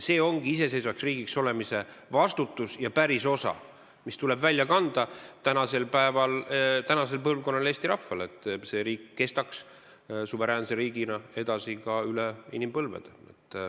See ongi iseseisvaks riigiks olemise vastutus ja pärisosa, mis tuleb välja kanda tänasel põlvkonnal, Eesti rahval, et see riik kestaks suveräänse riigina edasi üle inimpõlvede.